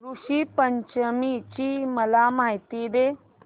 ऋषी पंचमी ची मला माहिती दे